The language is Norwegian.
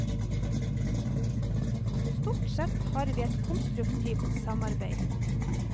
Stort sett har vi et konstruktivt samarbeid.